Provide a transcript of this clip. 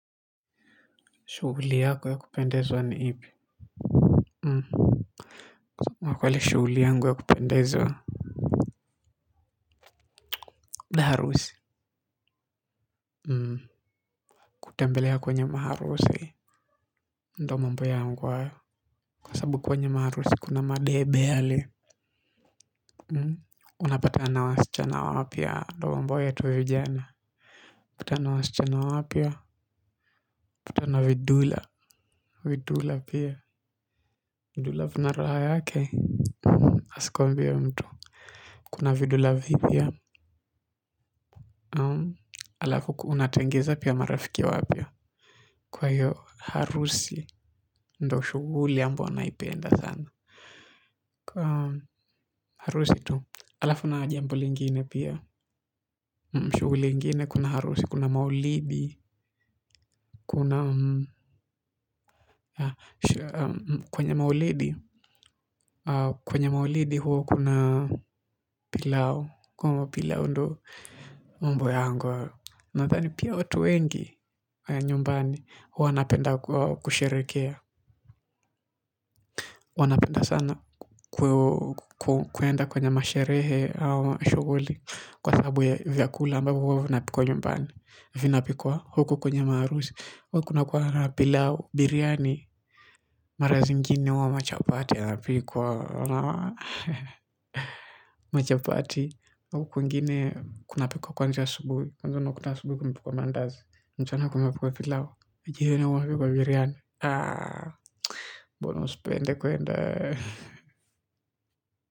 Shughuli yako ya kupendezwa ni ipi? Mhm kwa kweli shughuli yangu ya kupendezwa harusi mhm kutembelea kwenye maharusi ndo mambo yaangu hayo kwa sabu kwenye maharusi kuna madebe hali mhm unapatana wasichana wapya ndo mambo yetu vijana kutana na wasichana wapya kutana vidula vidula pia. Vidula vina raha yake, asikuambie mtu kuna vidhula vipya alafu kuunatengiza pia marafiki wapya kwa hiyo harusi ndo shughuli ambayo huwa naipenda sana kwa harusi tu alafu na jambo lingine pia shughuli ingine kuna harusi kuna maulidi kuna kwenye maulidi kwenye maulidi huo kuna pilau kwenye maulidi huo kuna pilao ndo umbo yangu nadani pia otu wengi nyumbani huwa waanapenda kusherekea. Wanapenda sana kwenda kwenye masherehe au shughuli kwa sabu ya vyakula ambavyo vina pikwa huku kwenye maruzi. Huku na pilao biriani marazi mgini wa machapati wana pikuwa machapati. Huku mgini kuna pikuwa kwanja subuhi. Kwa huku na subuhi kumipuwa mandazi. Mchana kunapikwa pilau. Jioni kunapikwa biriani. Mbona usipende kwenda kwa hivyo.